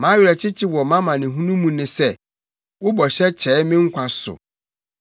Mʼawerɛkyekye wɔ mʼamanehunu mu ne sɛ: Wo bɔhyɛ kyɛe me nkwa so.